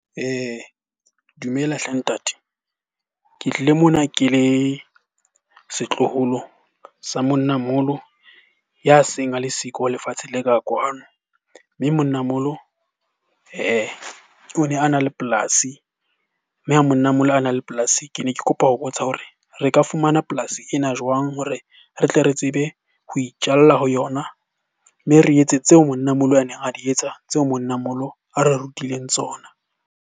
Dumela hle ntate. Ke tlile mona ke le setloholo sa monnamoholo ya seng a le siko lefatsheng le ka kwano. Mme monnamoholo o ne a na le polasi. Mme a monnamoholo ha na le polasi, ke ne ke kopa ho botsa hore re ka fumana polasi ena jwang hore re tle re tsebe ho itjalla ho yona? Mme re etse tseo monnamoholo a neng a di etsa, tseo monnamoholo a re rutileng tsona.